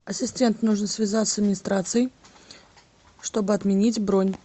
ассистент нужно связаться с администрацией чтобы отменить бронь